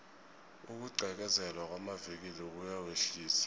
ukugqekezelwa kwamavikili kuyawehlisa